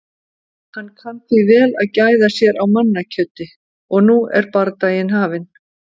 Hann kann því vel að gæða sér á mannakjöti. og nú er bardagi hafinn.